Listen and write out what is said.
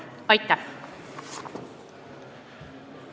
Aitäh!